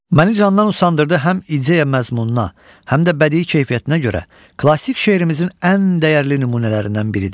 Məni candan usandırdı həm ideya məzmununa, həm də bədii keyfiyyətinə görə klassik şeirimizin ən dəyərli nümunələrindən biridir.